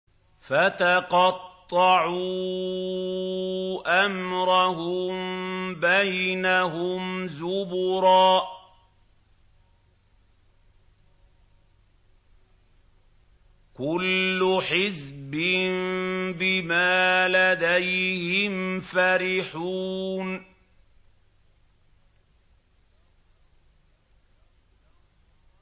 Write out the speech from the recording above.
فَتَقَطَّعُوا أَمْرَهُم بَيْنَهُمْ زُبُرًا ۖ كُلُّ حِزْبٍ بِمَا لَدَيْهِمْ فَرِحُونَ